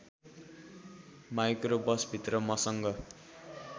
micro बसभित्र मसँग